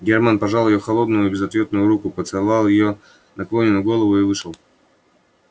германн пожал её холодную безответную руку поцеловал её наклонённую голову и вышел